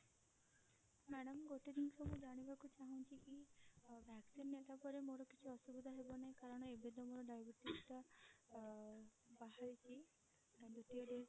madam ଗୋଟେ ଜିନିଷ ମୁଁ ଜାଣିବାକୁ ଚାହୁଁଛି କି ଅ vaccine ନେଲା ପରେ ମୋର କିଛି ଅସୁବିଧା ହେବ ନାହିଁ କାରଣ ଏବେ ତ ମୋର diabetes ଟା ବାହାରିଛି ଦୁତୀୟ dose